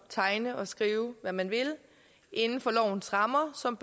tegne og skrive hvad man vil inden for lovens rammer som